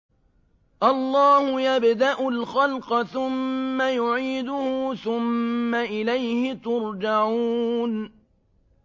اللَّهُ يَبْدَأُ الْخَلْقَ ثُمَّ يُعِيدُهُ ثُمَّ إِلَيْهِ تُرْجَعُونَ